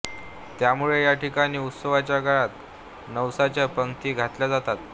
त्यामुळे या ठिकाणी उत्सवाच्या काळात नवसाच्या पंगती घातल्या जातात